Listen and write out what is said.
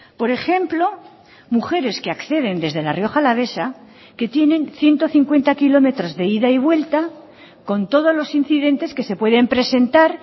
por ejemplo mujeres que acceden desde la rioja alavesa que tienen ciento cincuenta kilómetros de ida y vuelta con todos los incidentes que se pueden presentar